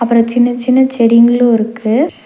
அப்றோ சின்ன சின்ன செடிங்களு இருக்கு.